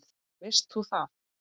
Veist þú það?